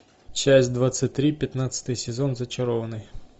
часть двадцать три пятнадцатый сезон зачарованные